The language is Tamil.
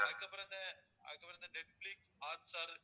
அதுக்கப்பறம் இந்த அதுக்கப்பறம் இந்த நெட்பிளிக்ஸ், ஹாட்ஸ்டார்